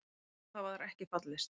Á það var ekki fallist.